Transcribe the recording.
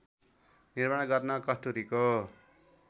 निर्माण गर्न कस्तुरीको